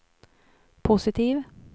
positiv